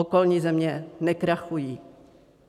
Okolní země nekrachují.